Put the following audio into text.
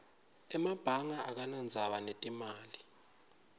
emabanga akanadzaba netimali